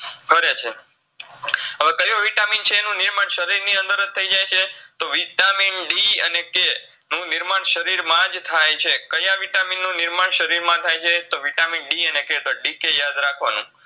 કરેછે હવે કયો Vitamin છે એનું નિર્માણ શરીરની અંદરજ થઈ જાયછે તો Vitamin D અને K નું નિર્માણ શરીરમાજ થાય છે કયા Vitamin નું નિર્માણ શરીરમા થાય છે તો Vitamin D અને K તો DK યાદ રાખવાનું